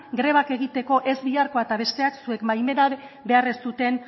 grebak egiteko ez biharko eta besteak zuen baimena behar ez duten